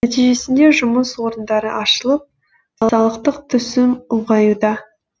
нәтижесінде жұмыс орындары ашылып салықтық түсім ұлғаюда